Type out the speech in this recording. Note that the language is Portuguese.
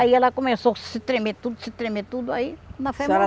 Aí ela começou a se tremer tudo, se tremer tudo, aí... Quando a febre mo... A senhora